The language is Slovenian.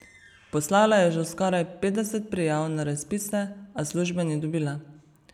Poslala je že skoraj petdeset prijav na razpise, a službe ni dobila.